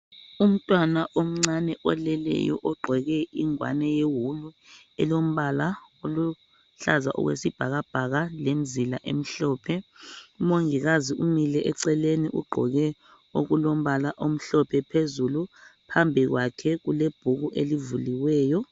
Umtwana omncane oleleyo ogqoke ingwane yewulu elombala oluhlaza okwesibhakabhaka lemzila emhlophe .Umongikazi umile eceleni ugqoke okulombala omhlophe phezulu phambi kwakhe kule bhuku elivuliweyo .